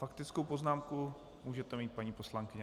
. Faktickou poznámku můžete mít, paní poslankyně.